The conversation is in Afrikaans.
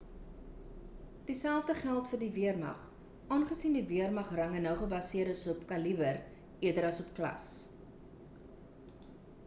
dieselfe geld vir die weermag aangesien die weermag range nou gebaseer is op kaliber eerder as op klas